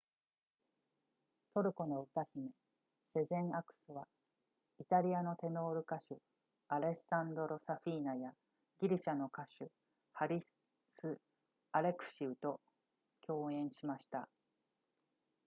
トルコの歌姫セゼンアクスはイタリアのテノール歌手アレッサンドロサフィーナやギリシャの歌手ハリスアレクシウと共演しました